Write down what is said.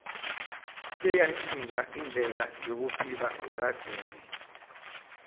seyantjintja indlela yekuphila yakadzeni